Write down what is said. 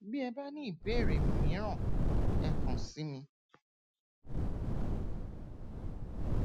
bí ẹ bá ní ìbéèrè mìíràn ẹ kàn sí mi